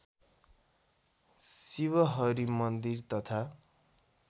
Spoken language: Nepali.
शिवहरि मन्दिर तथा